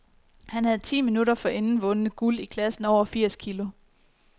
Han havde ti minutter forinden vundet guld i klassen over firs kilo.